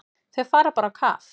Þau fara bara á kaf.